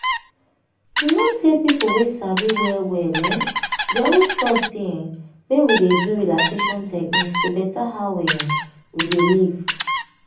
you know say people wey sabi well well um dey always talk say um make we dey do relaxation techniques to beta how um we dey live.